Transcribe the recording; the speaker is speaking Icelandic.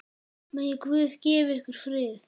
Megi Guð gefa ykkur frið.